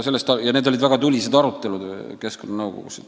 Ja need olid väga tulised arutelud keskkonnanõukogus.